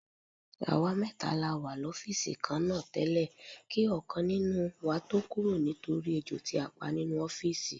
Àwa mẹ́ta la wà lọ́fíìsì kan náà tẹ́lẹ̀ kí ọ̀kan nínú tó kúrò nítorí ejò tí a pa nínú ọ́fíìsì.